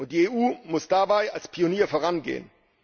Die EU muss dabei als Pionier vorangehen.